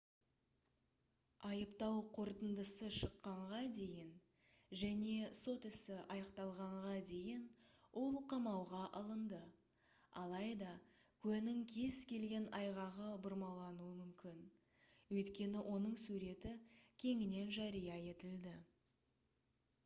айыптау қорытындысы шыққанға дейін және сот ісі аяқталғанға дейін ол қамауға алынды алайда куәнің кез келген айғағы бұрмалануы мүмкін өйткені оның суреті кеңінен жария етілді